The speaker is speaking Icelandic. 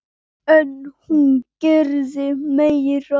En hún gerði meira.